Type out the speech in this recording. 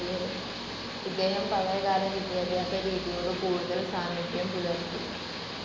ഇദ്ദേഹം പഴയ കാല വിദ്യാഭ്യാസ രീതിയോട് കൂടുതൽ സാമീപ്യം പുലർത്തി.